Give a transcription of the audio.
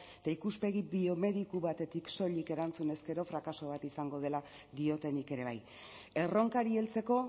eta ikuspegi biomediko batetik soilik erantzun ezkero frakaso bat izango dela diotenik ere bai erronkari heltzeko